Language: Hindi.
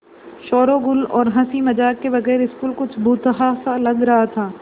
शोरोगुल और हँसी मज़ाक के बगैर स्कूल कुछ भुतहा सा लग रहा था